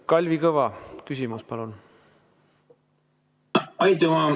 Kalvi Kõva, küsimus palun!